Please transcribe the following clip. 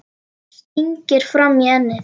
Stingir fram í ennið.